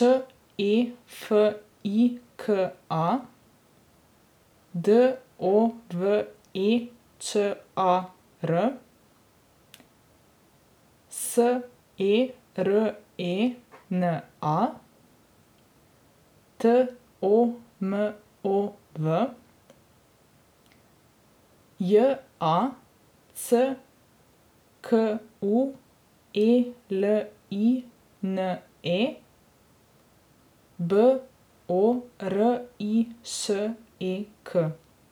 C A, P O D B R E Ž N I K; A V G U S T I N, S A X; D R A Ž E N, F A L S H; B E T T I, T A T I Ć; I D R I Z, V A U P O T I Č; Š E F I K A, D O V E Č A R; S E R E N A, T O M O V; J A C K U E L I N E, B O R I Š E K.